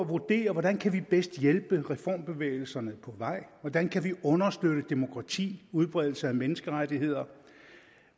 vurdere hvordan kan vi bedst hjælpe reformbevægelserne på vej hvordan kan vi understøtte demokrati udbredelse af menneskerettigheder